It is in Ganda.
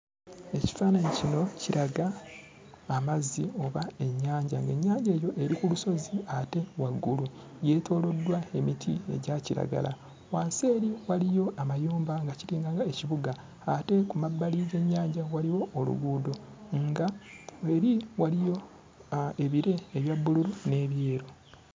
Ekifaananyi kino kiraga amazzi oba ennyanja, ng'ennyanja eyo eri ku lusozi ate waggulu, yeetooloddwa emiti egya kiragala. Wansi eri waliyo amayumba nga kiringanga ekibuga ate ku mabbali g'ennyanja waliwo oluguudo nga eri waliyo aa ebire ebya bbululu n'ebyeru.